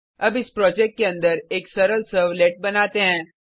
अब इस प्रोजेक्ट के अंदर एक सरल सर्वलेट बनाते हैं